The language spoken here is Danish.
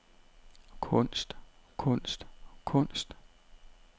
kunst kunst kunst